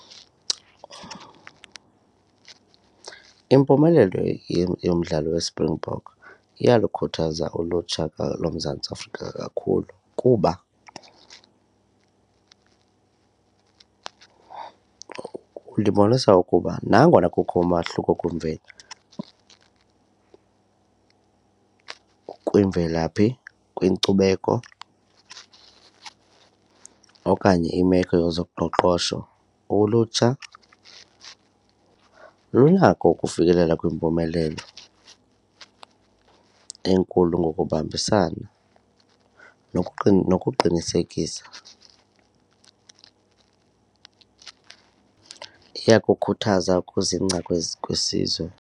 Impumelelo yomdlalo yeSpringbok iyalukhuthaza ulutsha loMzantsi Afrika kakhulu kuba lubonisa ukuba nangona kukho umahluko kwimvelaphi, kwinkcubeko okanye imeko yezoqoqosho ulutsha lunako ukufikelela kwimpumelelo enkulu ngokubambisana nokuqinisekisa. Iyakukhuthaza ukuzingca kwesizwe.